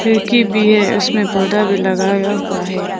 खिड़की भी है उसमें पर्दा भी लगाया हुआ है।